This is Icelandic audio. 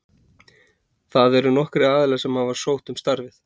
Það eru nokkrir aðilar sem hafa sótt um starfið.